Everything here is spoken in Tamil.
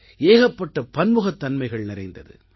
ஏகப்பட்ட பன்முகத்தன்மைகள் நிறைந்தது